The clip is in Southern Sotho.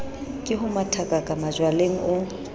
ke ho mathakaka majwaleng o